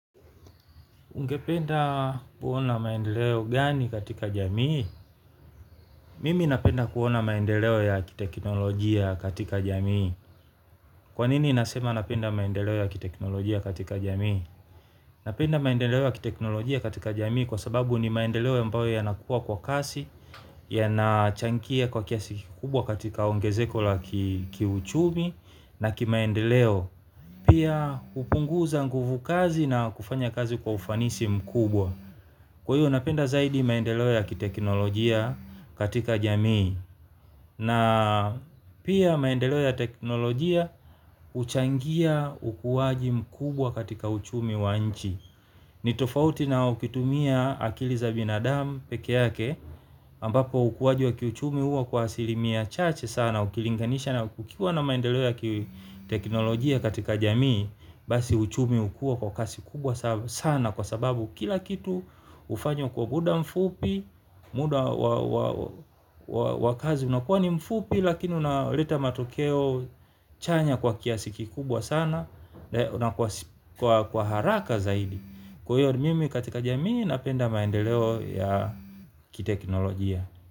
Ungependa kuona maendeleo gani katika jamii? Mimi napenda kuona maendeleo ya kiteknolojia katika jamii. Kwanini nasema napenda maendeleo ya kiteknolojia katika jamii? Napenda maendeleo ya kiteknolojia katika jamii kwa sababu ni maendeleo ya ambayo yanakua kwa kasi, ya nachankia kwa kiasi kikubwa katika ongezeko la kiuchumi na ki maendeleo. Pia kupunguza nguvu kazi na kufanya kazi kwa ufanisi mkubwa. Kwa hiyo napenda zaidi maendeleo ya kiteknolojia katika jamii. Na pia maendeleo ya teknolojia huchangia ukuwaji mkubwa katika uchumi wa nchi. Ni tofauti na ukitumia akili za binadau peke yake ambapo ukuwaji wa kiuchumi huwa kwa asilimia chache sana. Ukilinganisha na ukiwa na maendeleo ya kiteknolojia katika jamii basi uchumi hukuwa kwa kasi kubwa sana kwa sababu kila kitu hufanywa kwa muda mfupi. Muda wakazi unakuwa ni mfupi. Lakini unaleta matokeo chanya kwa kiasikikubwa sana. Na kwa haraka zaidi kwa hiyo mimi katika jamii napenda maendeleo ya kiteknolojia.